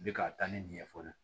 N bɛ k'a taa ni nin ɲɛfɔli ye